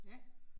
Ja